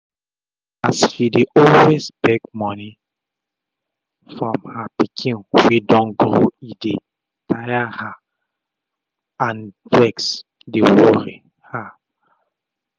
as she dey always beg moni um from her pikin wey don grow e dey um tire her and vex dey worri her